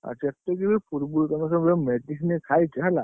ଆଉ ଯେତିକି ବି ପୂର୍ବରୁ ତମେ ଯୋଉ ସବୁ medicine ଖାଇଛ ହେଲା।